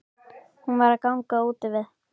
Hún var að ganga úti við.